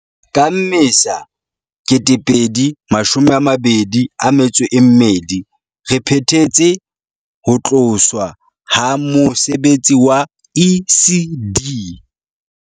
Ka Mmesa 2022, re phethetse ho tloswa ha mose betsi wa ECD